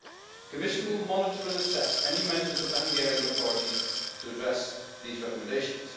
The Commission will monitor and assess any measures taken by the Hungarian authorities to address these recommendations.